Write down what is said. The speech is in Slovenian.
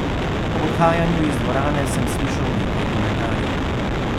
Ob odhajanju iz dvorane sem slišal nekaj komentarjev.